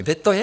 Kde to je?